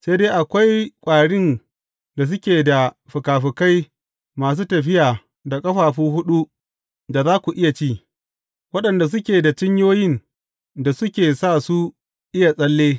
Sai dai akwai ƙwarin da suke da fikafikai masu tafiya da ƙafafu huɗu da za ku ci; waɗanda suke da cinyoyin da suke sa su iya tsalle.